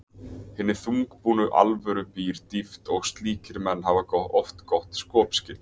hinni þungbúnu alvöru býr dýpt og slíkir menn hafa oft gott skopskyn.